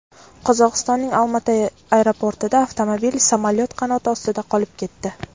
Qozog‘istonning Olma-ota aeroportida avtomobil samolyot qanoti ostida qolib ketdi.